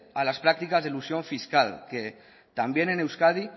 a las prácticas de elusión fiscal que también en euskadi